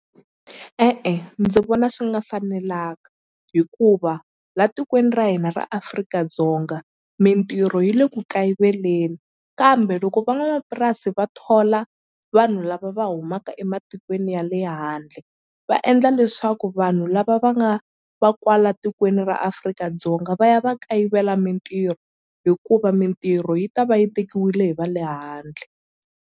E-e ndzi vona swi nga fanelanga hikuva la tikweni ra hina ra Afrika-Dzonga mintirho yi le ku kayiveleni kambe loko van'wamapurasi va thola vanhu lava va humaka ematikweni ya le handle va endla leswaku vanhu lava va nga va kwala tikweni ra Afrika-Dzonga va ya va kayivela mintirho hikuva mintirho yi ta va yi tekiwile hi va le handle.